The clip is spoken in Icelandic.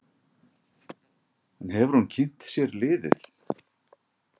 En hefur hún kynnt sér liðið?